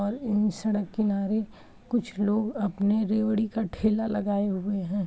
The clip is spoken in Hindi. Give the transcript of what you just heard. और इन सड़क किनारे कुछ लोग अपने रेवड़ी का ठेला लगाए हुऐ हैं।